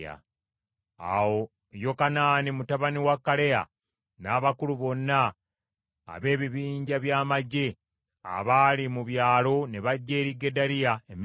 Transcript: Awo Yokanaani mutabani wa Kaleya n’abakulu bonna ab’ebibinja bya magye abaali mu byalo ne bajja eri Gedaliya e Mizupa.